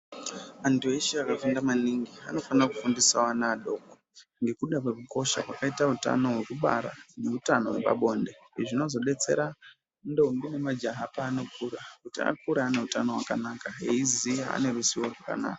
Antu eshe akafunda maningi anofana kufundisawo ana adoko ngekuda kwekukosha kwakaita hutano hwekubara nehutano hwepabonde izvi zvinozodetsera ndombi nemajaha kuti akure aine hutano hwakanaka eikura ane ruzivo rwakanaka.